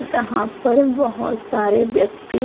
जहां पर बोहोत सारे व्यक्ति --